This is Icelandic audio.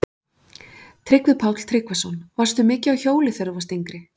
Tryggvi Páll Tryggvason: Varstu mikið á hjóli þegar þú varst yngri?